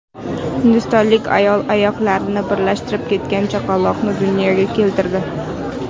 Hindistonlik ayol oyoqlari birlashib ketgan chaqaloqni dunyoga keltirdi.